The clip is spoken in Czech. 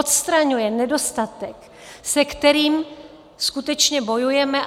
Odstraňuje nedostatek, se kterým skutečně bojujeme.